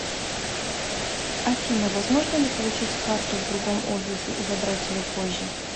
афина возможно ли получить карту в другом офисе и забрать ее позже